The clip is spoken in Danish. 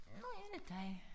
Nu er det dig